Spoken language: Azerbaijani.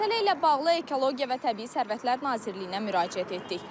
Məsələ ilə bağlı Ekologiya və Təbii Sərvətlər Nazirliyinə müraciət etdik.